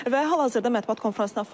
Və hal-hazırda mətbuat konfransına fasilədir.